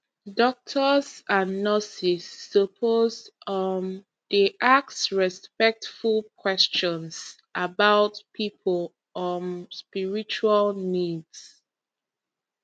doctors and nurses suppose um dey ask respectful questions about people um spiritual needs